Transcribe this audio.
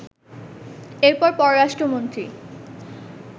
এরপর পররাষ্ট্রমন্ত্রী